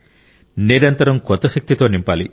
నిరంతరం కొత్త శక్తితో నింపాలి